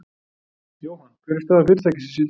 Jóhann, hver er staða fyrirtækisins í dag?